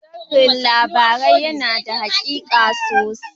Sharhin labarai yana da haƙiƙa sosai.